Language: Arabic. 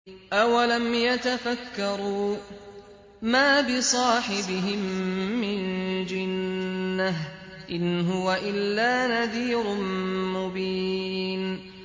أَوَلَمْ يَتَفَكَّرُوا ۗ مَا بِصَاحِبِهِم مِّن جِنَّةٍ ۚ إِنْ هُوَ إِلَّا نَذِيرٌ مُّبِينٌ